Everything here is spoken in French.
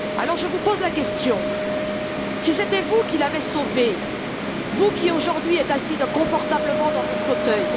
Je vous pose la question si c'était vous qu'il avait sauvé, vous qui, aujourd'hui, êtes assis confortablement dans votre fauteuil...